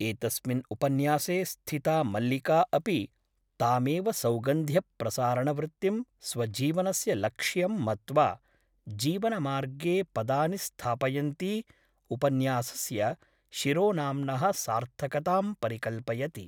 एतस्मिन् उपन्यासे स्थिता मल्लिका अपि तामेव सौगन्ध्य प्रसारणवृत्तिं स्वजीवनस्य लक्ष्यं मत्त्वा जीवनमार्गे पदानि स्थापयन्ती उपन्यासस्य शिरोनाम्नः सार्थकतां परिकल्पयति ।